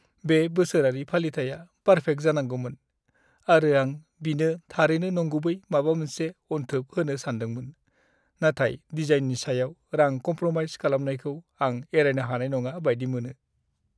बे बोसोरारि फालिथाइया पार्फेक्ट जानांगौमोन, आरो आं बिनो थारैनो नंगुबै माबा मोनसे अनथोब होनो सानदोंमोन। नाथाय डिजाइननि सायाव रां कमप्र'माइज खालामनायखौ आं एरायनो हानाय नङा बायदि मोनो।